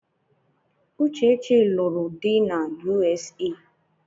Uchechi lụrụ di na U.S.A